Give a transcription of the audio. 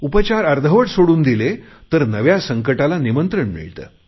उपचार अर्धवट सोडून दिले तर नव्या संकटाला निमंत्रण मिळते